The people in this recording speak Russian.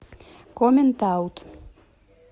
коммент аут